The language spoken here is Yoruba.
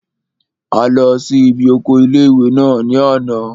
A lọ sí ibi oko ilé-ìwé náà ní àná